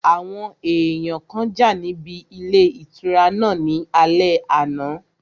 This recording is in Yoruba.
Àwọn èèyàn kan jà níbi ilé ìtura náà ní alẹ́ àná